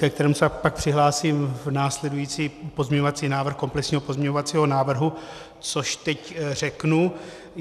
ke kterému se pak přihlásím v následujícím - pozměňovací návrh komplexního pozměňovacího návrhu, což teď řeknu.